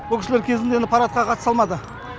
ол кісілер кезінде енді парадқа қатыса алмады